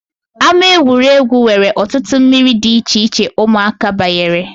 Ámá egwuregwu nwere ọtụtụ mmiri dị icheiche ụmụaka banyere